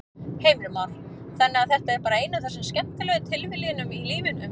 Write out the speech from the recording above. Heimir Már: Þannig að þetta er bara ein af þessum skemmtilegu tilviljunum í lífinu?